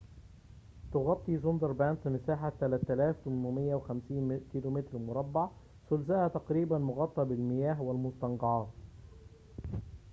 تغطي سونداربانس مساحة 3850 كيلومتر مربع، ثلثها تقريباً مغطى بالمياه/المستنقعات